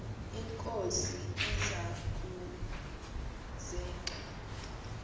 inkosi iza kuzek